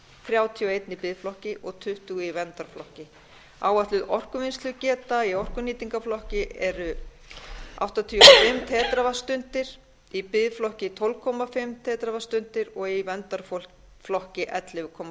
þrjátíu og eitt í biðflokki og tuttugu í verndarflokki áætluð orkuvinnslugeta í orkunýtingarflokki er áttatíu og fimm teravattstundir í biðflokki tólf og hálft teravattstundir og í verndarflokki ellefu komma